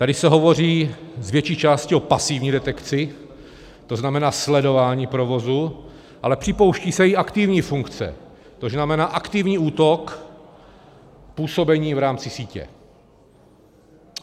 Tady se hovoří z větší části o pasivní detekci, to znamená sledování provozu, ale připouští se i aktivní funkce, to znamená aktivní útok působení v rámci sítě.